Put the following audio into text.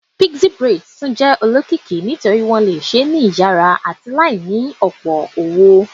Pixie braids tun jẹ olokiki nitori wọn le ṣee ṣe ni iyara ati laini iye owo